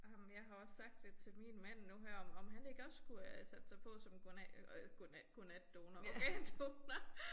Ej men jeg har også sagt det til min mand nu her om om han ikke skulle øh sætte sig på som øh godnatdonor organdonor